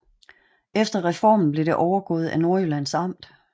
Efter reformen blev det overgået af Nordjyllands Amt